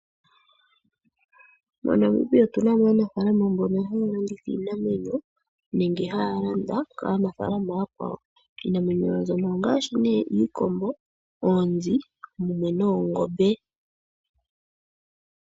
MoNamibia otu na mo aanafaalama mbono haya landitha iinamwenyo nenge haya landa kanafaalama ooyakwawo. Iinamwenyo mbino ongaashi nee iikombo, oonzi noongombe.